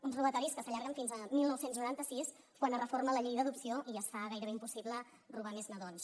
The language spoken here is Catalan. uns robatoris que s’allarguen fins a dinou noranta sis quan es reforma la llei d’adopció i es fa gairebé impossible robar més nadons